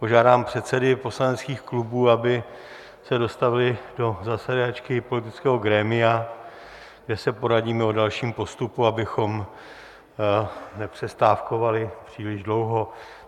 Požádám předsedy poslaneckých klubů, aby se dostavili do zasedačky politického grémia, kde se poradíme o dalším postupu, abychom nepřestávkovali příliš dlouho.